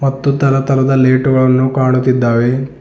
ಮತ್ತು ತರ ತರದ ಲೈಟುಗಳನ್ನು ಕಾಣುತ್ತಿದ್ದಾವೆ.